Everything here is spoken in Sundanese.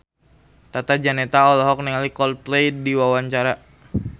Tata Janeta olohok ningali Coldplay keur diwawancara